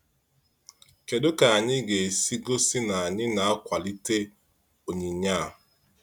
Kedu ka anyị ga-esi gosi na anyị na-akwalite onyinye a?